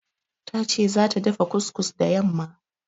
Ta ce zata dafa kus-kus da yamma.